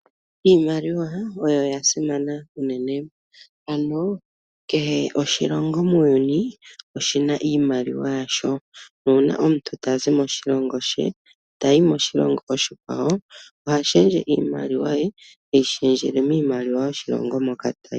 Iimaliwa oyasimana unene. Kehe oshilongo muuyuni oshina iimaliwa yasho. Uuna omuntu tazi moshilongo shimwe tayi moshilongo oshikwawo oha shendje iimaliwa, teyi shendjele miimaliwa yoshilongo moka tayi.